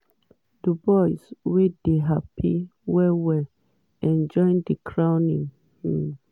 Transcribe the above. dubois wey dey happy well-well enjoy di crowning um moment